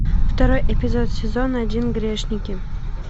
второй эпизод сезон один грешники